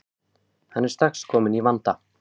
Hann er strax kominn í vanda.